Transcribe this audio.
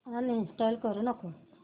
uninstall करू नको